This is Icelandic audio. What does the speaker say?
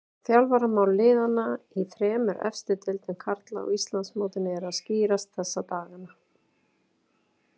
Þjálfaramál liðanna í þremur efstu deildum karla á Íslandsmótinu eru að skýrast þessa dagana.